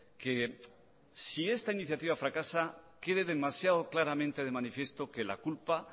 que si esta iniciativa fracasa quede demasiado claramente de manifiesto que la culpa